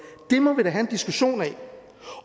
det må vi da have en diskussion af